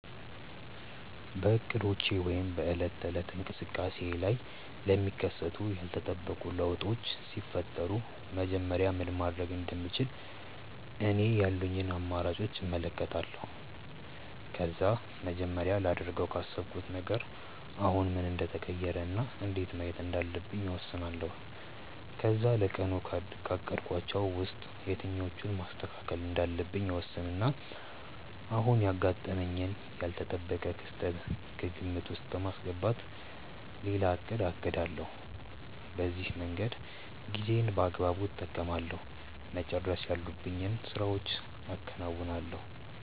በእቅዶቼ ወይም በዕለት ተዕለት እንቅስቃሴዬ ላይ ለሚከሰቱ ያልተጠበቁ ለውጦች ሲፈጠሩ መጀመሪያ ምን ማድረግ እንደምችል እኔ ያሉኝን አማራጮች እመለከታለሁ። ከዛ መጀመሪያ ላደርገው ካሰብኩት ነገር አሁን ምን እንደተቀየረ እና እንዴት ማየት እንዳለብኝ እወስናለሁ። ከዛ ለቀኑ ካቀድኳቸው ውስጥ የትኞቹን ማስተካከል እንዳለብኝ እወስንና አሁን ያጋጠመኝን ያልተጠበቀ ክስተት ከግምት ውስጥ በማስገባት ሌላ እቅድ አቅዳለሁ። በዚህ መንገድ ጊዜዬን በአግባቡ እጠቀማለሁ፤ መጨረስ ያሉብኝን ስራዎችም አከናውናለሁ።